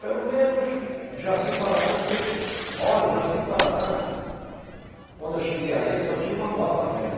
Pelo menos Jaci-Paraná que você quer. Olhe, Jaci-Paraná, quando eu cheguei aí, só tinha uma moto velha.